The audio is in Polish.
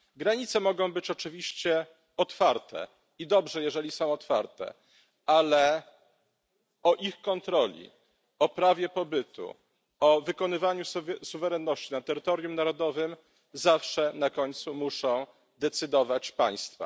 Granice mogą być oczywiście otwarte, i dobrze jeżeli są otwarte, ale o ich kontroli, o prawie pobytu, o wykonywaniu suwerenności na terytorium narodowym zawsze na końcu muszą decydować państwa.